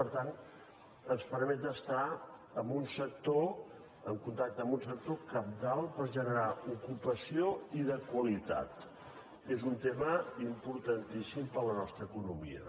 per tant ens permet estar en contacte amb un sector cabdal per generar ocupació i de qualitat que és un tema importantíssim per a la nostra economia